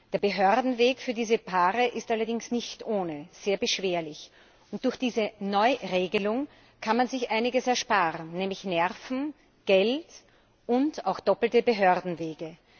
Der Behördenweg für diese Paare ist allerdings nicht ohne sehr beschwerlich. Und durch diese Neuregelung kann man sich einiges ersparen, nämlich Nerven, Geld und auch doppelte Behördenwege.